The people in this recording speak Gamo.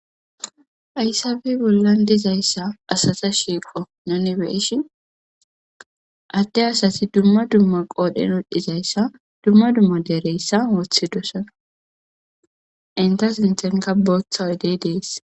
aysabe bollan dizayssa asata shiiqo nanibeishin adde asati dumma dumma qoodhen wodhdhizayssa dumma dumma deereyssa wooththi dosana inta sintenka booththa udey dees